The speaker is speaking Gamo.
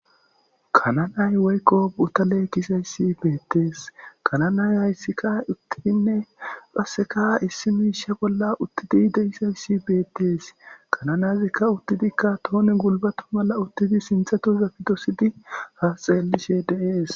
Kananay woykqo buta leekkisayssi beettees kananay hayssikka uttidinne paseka issi miisha bolla uttidi deisayssi beettees kananazikka uttidikka toone gulbatu mala uttidi sinthato za pidosidi haasxeelishe deees.